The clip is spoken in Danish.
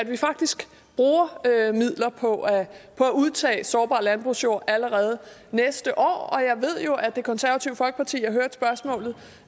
vi faktisk bruger midler på at udtage sårbar landbrugsjord allerede næste år jeg ved jo at det konservative folkeparti